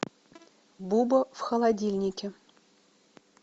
буба в холодильнике